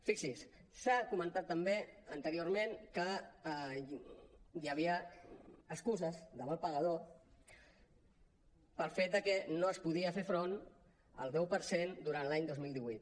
fixi’s s’ha comentat també anteriorment que hi havia excuses de mal pagador pel fet que no es podia fer front al deu per cent durant l’any dos mil divuit